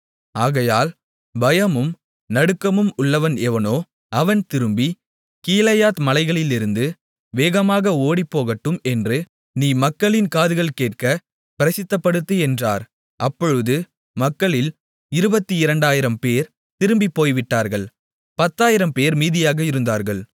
ஆகையால் பயமும் நடுக்கமும் உள்ளவன் எவனோ அவன் திரும்பி கீலேயாத் மலைகளிலிருந்து வேகமாக ஓடிப்போகட்டும் என்று நீ மக்களின் காதுகள் கேட்கப் பிரசித்தப்படுத்து என்றார் அப்பொழுது மக்களில் 22000 பேர் திரும்பிப் போய்விட்டார்கள் 10000 பேர் மீதியாக இருந்தார்கள்